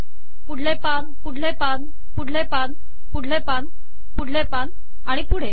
पुढले पान पुढले पान पुढले पान पुढले पान पुढले पान आणि पुढे